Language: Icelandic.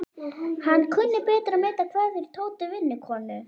Hann kunni betur að meta kveðjur Tótu vinnukonu.